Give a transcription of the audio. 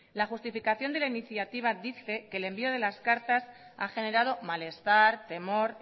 la justificación de la iniciativa dice que el envío de las cartas ha generado malestar temor